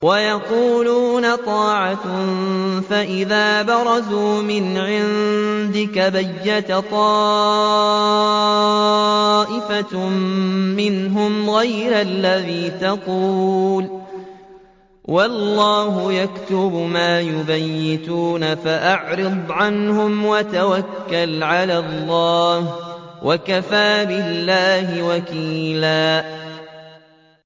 وَيَقُولُونَ طَاعَةٌ فَإِذَا بَرَزُوا مِنْ عِندِكَ بَيَّتَ طَائِفَةٌ مِّنْهُمْ غَيْرَ الَّذِي تَقُولُ ۖ وَاللَّهُ يَكْتُبُ مَا يُبَيِّتُونَ ۖ فَأَعْرِضْ عَنْهُمْ وَتَوَكَّلْ عَلَى اللَّهِ ۚ وَكَفَىٰ بِاللَّهِ وَكِيلًا